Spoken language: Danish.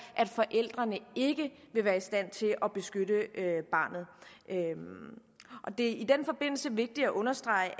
at forældrene ikke vil være i stand til at beskytte barnet det er i den forbindelse vigtigt at understrege